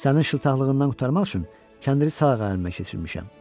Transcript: Sənin şıltaqlığından qurtarmaq üçün kəndiri sağ əlimə keçirmişəm.